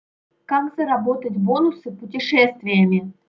как заработать бонусы путешествиями